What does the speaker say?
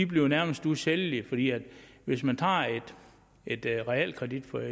bliver nærmest usælgelige hvis man tager et realkreditlån